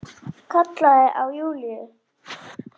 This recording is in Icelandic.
Kallaði á Júlíu.